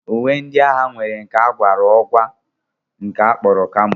Uwe ndị agha nwere nke a gwara ọgwa nke a kpọrọ kamo